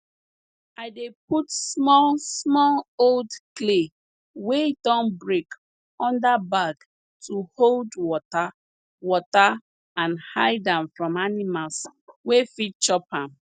i dey put small small old clay wey don break under bag to hold water water and hide am from animals wey fit chop am